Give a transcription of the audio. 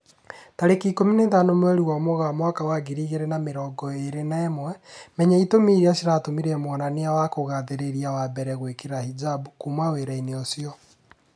Tarĩki ikũmi na ithano mweri wa Mũgaa mwaka wa ngiri igĩri na mĩrongo ĩri na ĩmwe, Menya itũmi irĩa ciatũmire mwonania wa kugathĩrĩria wa mbere gwĩkira hijab "kuma wĩra-inĩ ucio"